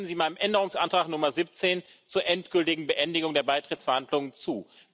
Stimmen Sie meinem Änderungsantrag Nummer 17 zur endgültigen Beendigung der Beitrittsverhandlungen zu!